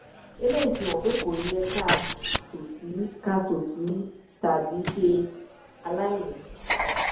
eléyìí fi hàn pé kò yẹ ká tòṣì ká tòṣì tàbí ṣe aláìní